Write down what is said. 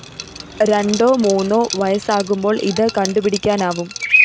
രണ്ടോ മൂന്നോ വയസ്സാകുമ്പോള്‍ ഇത് കണ്ടുപിടിക്കാനാവും